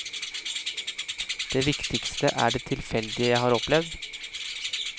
Det viktigste er det tilfeldige jeg har opplevd.